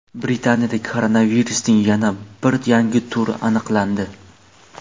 Britaniyada koronavirusning yana bir yangi turi aniqlandi.